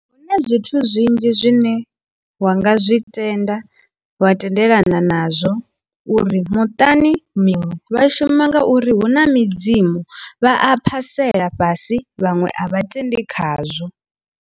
Huna zwithu zwinzhi zwine wa nga zwi tenda wa tendelana nazwo uri muṱani miṅwe vha shuma ngauri hu na midzimu vha a phasela fhasi vhaṅwe a vha tendi khazwo.